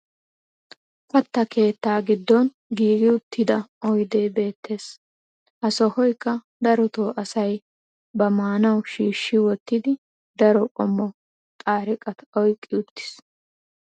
katta keettaa giddon giigi uttida oydee beettees. ha sohoykka darotoo asay ba maanawu shiishi wottidi daro qommo xaariqatta oyqqi uttiis.